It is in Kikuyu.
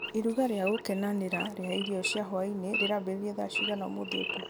iruga rĩa gũkenanĩra rĩa irio cia hwaĩ-inĩ rĩrambĩrĩria thaa cigana ũmũthĩ ũtukũ